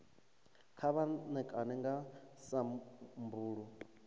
kha vha ṋekane nga sambulu